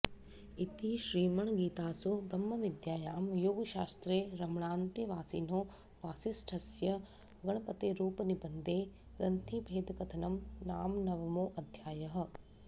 इति श्रीरमणगीतासु ब्रह्मविद्यायां योगशास्त्रे रमणान्तेवासिनो वासिष्ठस्य गणपतेरुपनिबन्धे ग्रन्थिभेदकथनं नाम नवमोऽध्यायः